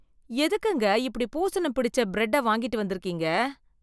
எதுக்குங்க எப்படி பூசணம் பிடிச்ச பிரெட்டை வாங்கிட்டு வந்திருக்கீங்க?